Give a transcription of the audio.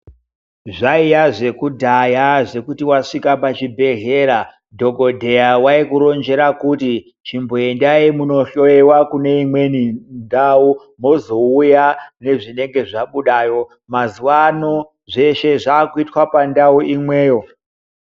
Zvaiya zvekudhaya zvekuti wasvika pachibhedhlera dhokodheya waikuronjera kuti chimboendai munohloyiwa kune imweni ndau, mozouya nezvinenge zvabudayo. Mazuwano, zveshe zvakuitwa pandau imweyo.